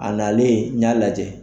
A nalen n y'a lajɛ.